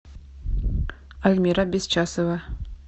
альмира бесчасова